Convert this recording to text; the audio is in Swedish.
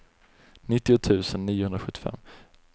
nittio tusen niohundrasjuttiofem